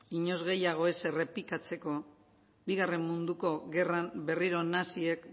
inoiz gehiago ez errepikatzeko bigarren munduko gerran berriro naziek